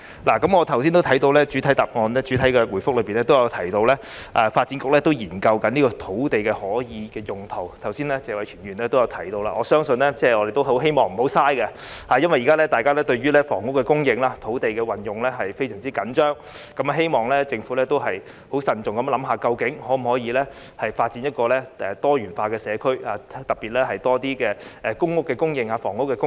我剛才也看到，開場發言中提到發展局正研究這塊土地可使用用途，而謝偉銓議員剛才也提到，希望政府不要浪費；因為現在大家對於房屋供應、土地的運用非常着緊，希望政府可以慎重地考慮，究竟能否發展多元化的社區，特別是有更多公屋供應、房屋供應。